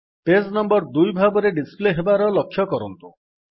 page number 2 ଭାବରେ display ହେବାର ଲକ୍ଷ୍ୟ କରନ୍ତୁ